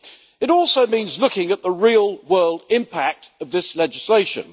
It also means looking at the real-world impact of this legislation.